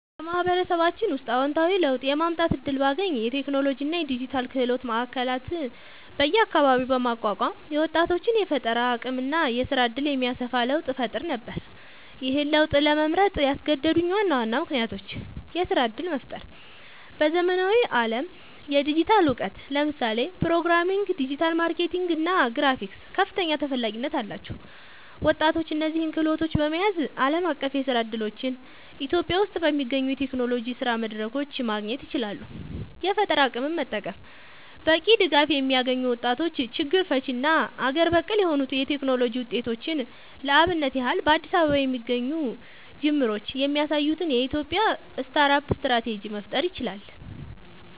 በማህበረሰባችን ውስጥ አወንታዊ ለውጥ የማምጣት እድል ባገኝ፣ የቴክኖሎጂ እና የዲጂታል ክህሎት ማዕከላት በየአካባቢው በማቋቋም የወጣቶችን የፈጠራ አቅም እና የስራ እድል የሚያሰፋ ለውጥ እፈጥር ነበር። ይህን ለውጥ ለመምረጥ ያስገደዱኝ ዋና ዋና ምክንያቶች -የስራ እድል መፍጠር በዘመናዊው ዓለም የዲጂታል እውቀት (ለምሳሌ ፕሮግራሚንግ፣ ዲጂታል ማርኬቲንግ እና ግራፊክስ) ከፍተኛ ተፈላጊነት አላቸው። ወጣቶች እነዚህን ክህሎቶች በመያዝ ዓለም አቀፍ የስራ እድሎችን [ኢትዮጵያ ውስጥ በሚገኙ የቴክኖሎጂ የስራ መድረኮች] ማግኘት ይችላሉ። የፈጠራ አቅምን መጠቀም በቂ ድጋፍ የሚያገኙ ወጣቶች ችግር ፈቺ እና አገር በቀል የሆኑ የቴክኖሎጂ ውጤቶችን (ለአብነት ያህል በአዲስ አበባ የሚገኙ ጅምሮች የሚያሳዩትን [የኢትዮጵያ ስታርት አፕ ስትራቴጂ]) መፍጠር ይችላሉ።